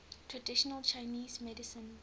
traditional chinese medicine